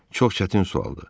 Çox çətin sualdır.